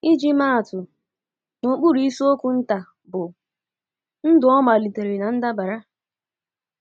Iji maa atụ, n’okpuru isiokwu nta bụ́ “ Ndụ Ọ Malitere ná Ndabara? ”